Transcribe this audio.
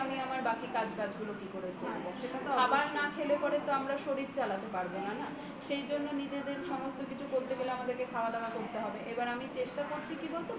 আমি আমার বাকি কাজবাজ গুলো কি করে করব খাবার না খেতে পারলে আমরা শরীর চালাতে পারব না না সেই জন্য নিজেদের সমস্ত কিছু করতে গেলে আমাদের খাওয়া দাওয়া করতে হবে এবার আমি চেষ্টা করছি কি বলতো